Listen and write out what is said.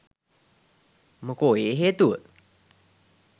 මොකෝ ඒ හේතුව